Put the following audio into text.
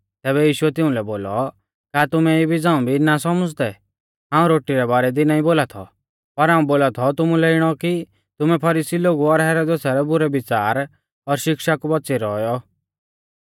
तैबै यीशुऐ तिउंलै बोलौ का तुमै इबी झ़ांऊ भी ना सौमुझ़दै हाऊं रोटी रै बारै दी नाईं बोला थौ पर हाऊं बोला थौ तुमुलै इणौ कि तुमै फरीसी लोगु और हेरोदेसा रै बुरै विच़ार और शिक्षा कु बौच़ियौ रौऔ